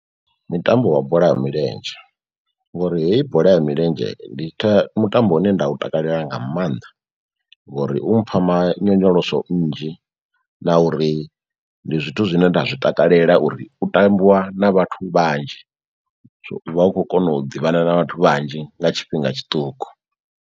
Ndi mutambo wa bola ya milenzhe, ngori heyi bola ya milenzhe ndi tha mutambo une nda u takalela nga mannḓa ngori u mpha ma nyonyoloso nnzhi na uri ndi zwithu zwine nda zwi takalela uri u tambiwa na vhathu vhanzhi so u vha u khou kona u ḓivhana na vhathu vhanzhi nga tshifhinga tshiṱuku.